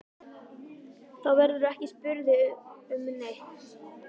Þá verðurðu ekki spurður um neitt.